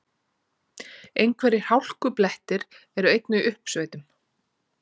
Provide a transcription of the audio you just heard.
Einhverjir hálkublettir eru einnig í uppsveitum